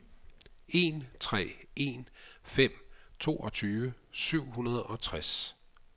en tre en fem toogtyve syv hundrede og tres